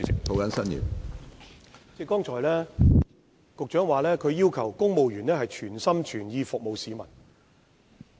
局長剛才提到要求公務員全心全意服務市民。